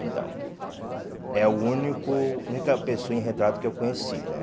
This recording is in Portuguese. Então, é o único única pessoa em retrato que eu conheci, né?